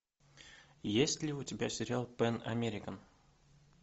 есть ли у тебя сериал пэн американ